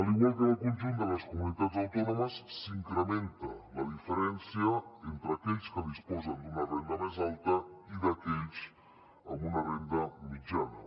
igual que al conjunt de les comunitats autònomes s’incrementa la diferència entre aquells que disposen d’una renda més alta i aquells amb una renda mitjana